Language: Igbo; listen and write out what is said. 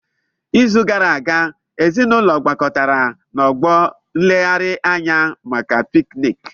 N'izu gara aga, ezinaụlọ gbakọtara na Ọgbọ nleghari anya maka pikniki.